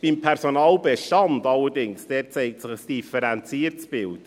Beim Personalbestand allerdings zeigt sich ein differenziertes Bild: